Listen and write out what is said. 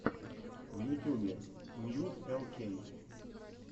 в ютюбе мьюз эл кей